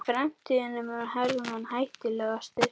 Í framlínunni var Hermann hættulegastur.